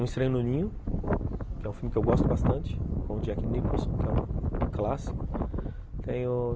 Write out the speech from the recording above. Um Estranho no Ninho, que é um filme que eu gosto bastante, com o Jack Nicholson, que é um clássico. Tem o